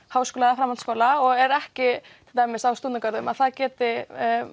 Háskóla eða framhaldsskóla og er ekki á stúdentagörðum að það geti